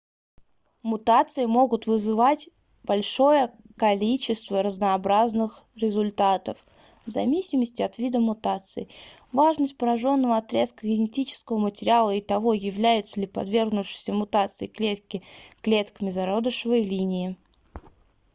мутации могут вызвать большое количество разнообразных результатов в зависимости от вида мутации важности пораженного отрезка генетического материала и того являются ли подвергнувшиеся мутации клетки клетками зародышевой линии